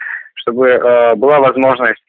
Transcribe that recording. чтобы была возможность